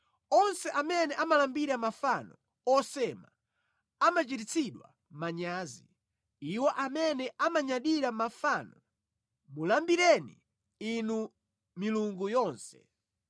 Onse amene amalambira mafano osema amachititsidwa manyazi, iwo amene amanyadira mafano; mulambireni, inu milungu yonse!